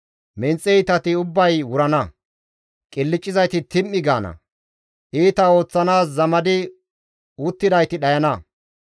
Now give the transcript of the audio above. Menxe iitati ubbay wurana; qilccizayti tim7i gaana; Iita ooththanaas zamadi uttidayti dhayana.